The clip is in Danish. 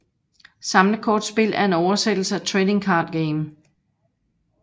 Samlekortspil er en oversættelse af trading card game